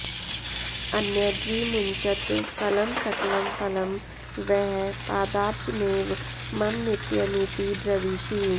अन्यद्विमुञ्चत् फलं सकलं फलं वः पादाब्जमेव मम नित्यमिति ब्रवीषि